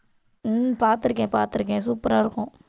உம் பாத்திருக்கேன், பாத்திருக்கேன் super ஆ இருக்கும்.